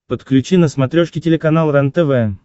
подключи на смотрешке телеканал рентв